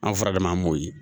An furakɛminan m'o ye